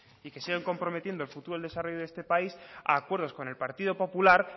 y que siguen comprometiendo el futuro y desarrollo de este país a acuerdos con el partido popular